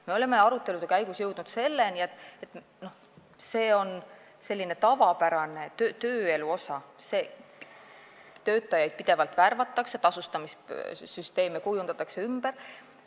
Me oleme arutelude käigus jõudnud selleni, et see on tavapärane tööelu osa, töötajaid pidevalt värvatakse ja tasustamissüsteeme kujundatakse pidevalt ümber.